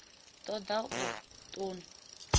ṱo ḓa u ṱun ḓa